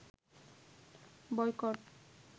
boycott